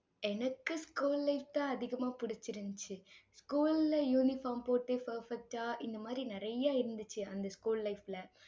எனக்கு school life தான் அதிகமா பிடிச்சிருந்துச்சு. school ல uniform போட்டு, perfect ஆ இந்த மாதிரி நிறைய இருந்துச்சு, அந்த school life ல